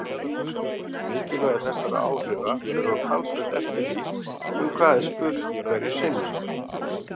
Mikilvægi þessara áhrifa fer þó talsvert eftir því um hvað er spurt hverju sinni.